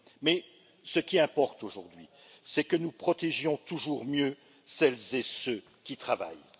Mais ce qui importe aujourd'hui, c'est que nous protégions toujours mieux celles et ceux qui travaillent.